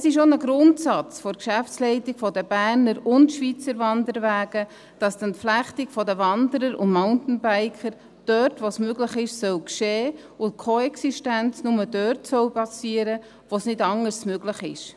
Es ist auch ein Grundsatz der Geschäftsleitung der Berner und der Schweizer Wanderwege, dass die Entflechtung der Wanderer und Mountainbiker dort, wo sie möglich ist, geschehen soll und dass die Koexistenz nur dort stattfinden soll, wo es nicht anders möglich ist.